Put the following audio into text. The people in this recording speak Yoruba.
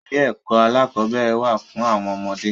Ilé ẹkọ alakọ̀bẹ́ẹ́rẹ̀ wà fún àwọn ọmọdé.